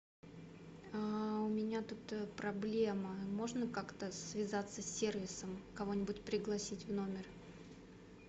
у меня тут проблема можно как то связаться с сервисом кого нибудь пригласить в номер